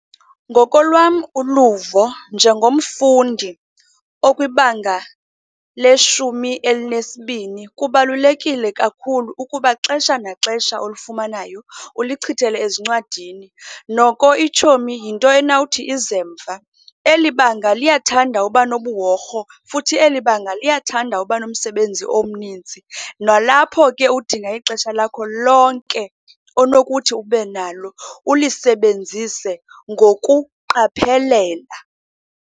Ngokolwam uluvo njengomfundi okwibanga leshumi elinesibini, kubalulekile kakhulu ukuba xesha naxesha olifumanayo ulichithele ezincwadini, noko itshomi yinto enawuthi ize mva. Elibanga liyathanda uba nobuhorho, futhi elibanga liyathanda uba nomsebenzi omninzi. Nalapho ke udinga ixesha lakho lonke onokuthi ube nalo ulisebenzise ngokuqaphelela.